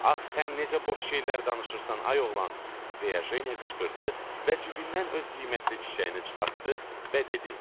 Ax sən necə boş şeylər danışırsan, ay oğlan, deyə Jenya qışqırdı və cibindən öz qiymətli çiçəyini çıxartdı və dedi: